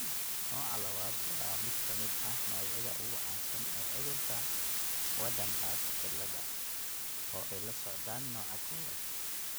Nooca labaad waa mid ka mid ah noocyada ugu caansan ee cudurka Waardenburg cilada, oo ay la socdaan nooca kowaad.